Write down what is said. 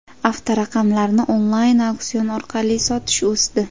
Avtoraqamlarni onlayn auksion orqali sotish o‘sdi.